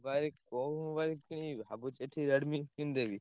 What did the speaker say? ଭାଇ କୋଉ mobile କିଣିବି ଭାବୁଛି ଏଠି Redmi କିଣିଦେବି।